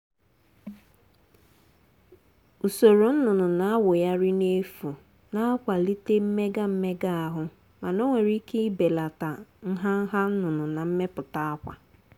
usoro nnụnụ na-awụgharị n’efu na-akwalite mmega mmega ahụ mana ọ nwere ike ibelata nha nha nnụnụ na mmepụta akwa.